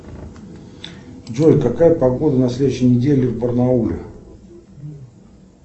джой какая погода на следующей неделе в барнауле